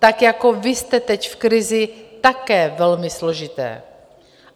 Tak, jako vy jste teď v krizi, také velmi složité.